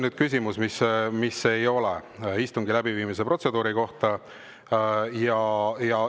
See küsimus nüüd ei ole istungi läbiviimise protseduuri kohta.